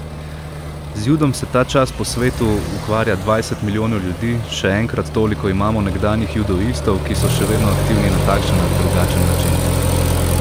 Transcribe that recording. Z judom se ta čas po vsem svetu ukvarja dvajset milijonov ljudi, še enkrat toliko imamo nekdanjih judoistov, ki so še vedno aktivni na takšen ali drugačen način.